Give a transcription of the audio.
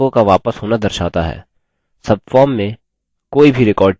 subform में कोई भी record चुनें